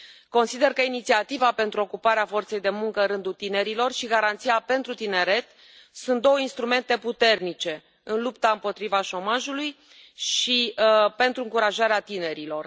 Consider că Inițiativa pentru ocuparea forței de muncă în rândul tinerilor și Garanția pentru tineret sunt două instrumente puternice în lupta împotriva șomajului și pentru încurajarea tinerilor.